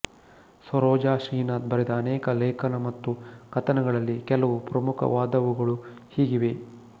ಸರೋಜಾ ಶ್ರೀನಾಥ್ ಬರೆದ ಅನೇಕ ಲೇಖನಮತ್ತು ಕಥನಗಳಲ್ಲಿ ಕೆಲವು ಪ್ರಮುಖವಾದವುಗಳು ಹೀಗಿವೆ